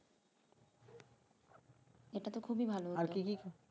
এটাতো খুবই ভালো